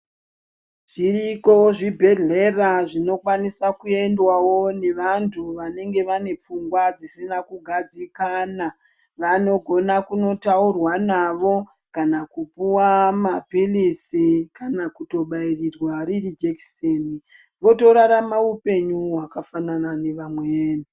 Zviriko zvibhedhlera zvinokwanisa kuendawo nevanhu vanenge vanepfungwa dzisina kugadzikana, vanogona kunotaurwa navo kana kupuwa mapilisi kana kutobairirwa riri jekiseni votorarama upenyu wakafanana nevamweni.